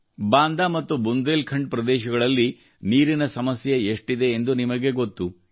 ಬಾಂದಾ ಮತ್ತು ಬುಂದೇಲ್ಖಂಡ್ ಪ್ರದೇಶಗಳಲ್ಲಿ ನೀರಿನ ಸಮಸ್ಯೆ ಎಷ್ಟಿದೆ ಎಂದು ನಿಮಗೆ ಗೊತ್ತು